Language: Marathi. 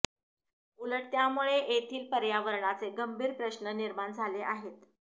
उलट त्यामुळे येथील पर्यावरणाचे गंभीर प्रश्न निर्माण झाले आहेत